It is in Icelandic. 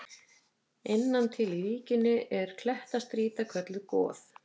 Innan til í víkinni er klettastrýta kölluð Goð.